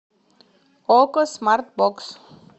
окко смарт бокс